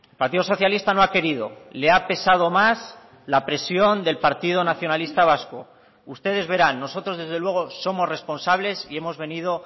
partido socialista no ha querido le ha pesado más la presión del partido nacionalista vasco ustedes verán nosotros desde luego somos responsables y hemos venido